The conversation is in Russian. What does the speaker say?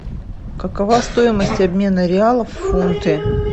какова стоимость обмена реалов в фунты